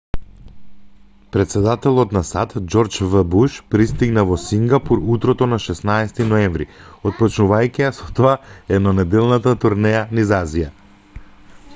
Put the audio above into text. претседателот на сад џорџ в буш пристигна во сингапур утрото на 16 ноември отпочнувајќи ја со тоа еднонеделната турнеја низ азија